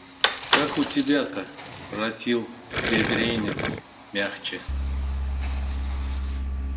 как у тебя-то спросил бедренец мягче